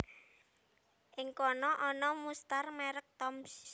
Ing kana ana mustar merek Toms